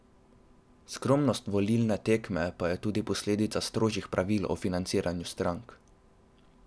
Skromnost volilne tekme pa je tudi posledica strožjih pravil o financiranju strank.